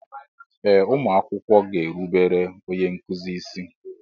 Ee ụmụ akwụkwọ ga-erubere onye nkuzi isi.